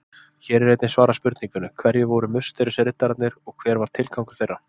Hér er einnig svarað spurningunni: Hverjir voru musterisriddararnir og hver var tilgangur þeirra?